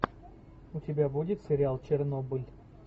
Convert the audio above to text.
у тебя будет сериал чернобыль